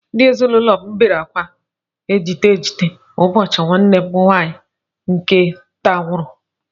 Ndị ezinụlọ m niile bere akwa ejite ejite ụbọchị nwanne m nwaanyị nke nta nwụrụ